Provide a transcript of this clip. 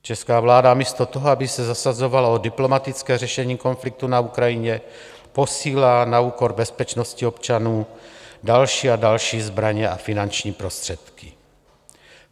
Česká vláda místo toho, aby se zasazovala o diplomatické řešení konfliktu na Ukrajině, posílá na úkor bezpečnosti občanů další a další zbraně a finanční prostředky.